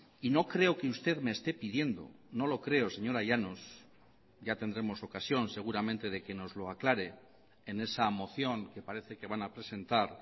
y no creo que usted me esté pidiendo no lo creo señora llanos ya tendremos ocasión seguramente de que nos lo aclare en esa moción que parece que van a presentar